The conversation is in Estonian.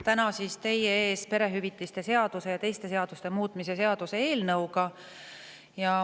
Täna olen teie ees perehüvitiste seaduse ja teiste seaduste muutmise seaduse eelnõuga.